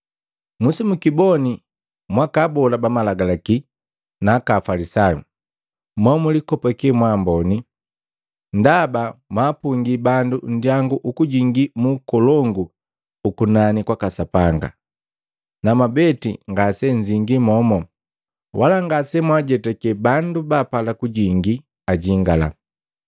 “Musimukiboni mwaka abola ba Malagalaki na aka Afalisayu! Mo mulikopake mwa amboni! Ndaba mwapungi bandu nndyangu ukujingi mu ukolongu ukunani kwaka Sapanga, na mwabeti ngasenzingii momu, wala ngasemwaajetakale bandu baapala kujingi ajingala.”